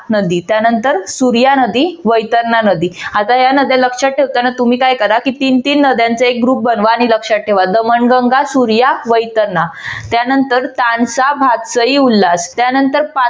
नदी त्यानंतर सूर्या नदी वैतरणा नदी आता या नद्या लक्षात ठेवताना तुम्ही काय करा तीन तीन नद्यांचा एक group बनवा आणि लक्षात ठेवा दमनगंगा, सूर्या, वैतरणा त्यानंतर चांसा, भातसई, उल्हास त्यानंतर